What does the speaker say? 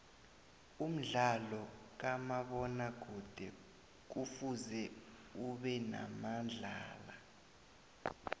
umdlalo kamabona kude kufuze ubenabadlali